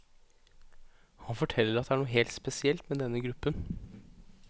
Han forteller at det er noe helt spesielt med denne gruppen.